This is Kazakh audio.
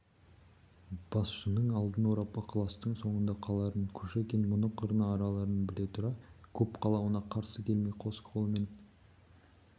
басшының алдын орап ықыластың соңында қаларын кушекин мұны қырына аларын біле тұра көп қалауына қарсы келмей қос қолымен